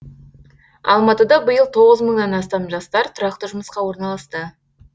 алматыда биыл тоғыз мыңнан астам жастар тұрақты жұмысқа орналасты